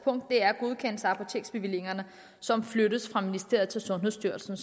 er godkendelsen af apoteksbevillinger som flyttes fra ministeriet til sundhedsstyrelsen